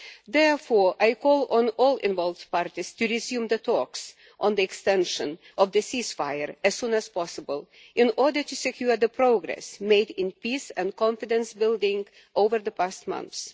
Therefore I call on all involved parties to resume the talks on the extension of the ceasefire as soon as possible in order to secure the progress made in peace and confidence building over the past months.